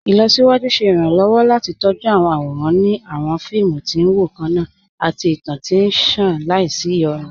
Ilọ̀síwájú ṣẹ̀ iranlọ́wọ́ láti tọjú awọn awóran ni awọn fíìmù tí n wọ kanna àti ìtàn tí nṣàn làísí iyonú.